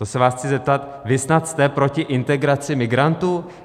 To se vás chci zeptat: Vy snad jste proti integraci migrantů?